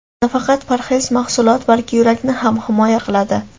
Nafaqat parhez mahsulot, balki yurakni ham himoya qiladi.